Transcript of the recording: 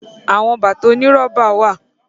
Àwọn bàtà oní rọ́bà wà.